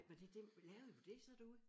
Ej var det dem lavede du det så derude?